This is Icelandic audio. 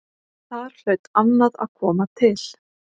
Þar hlaut annað að koma til.